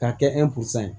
K'a kɛ ye